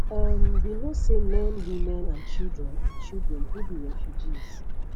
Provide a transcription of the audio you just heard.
um we know say men women and children and children who be refugees